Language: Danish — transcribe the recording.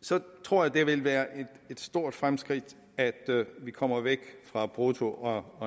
så tror jeg det vil være et stort fremskridt at vi kommer væk fra brutto og og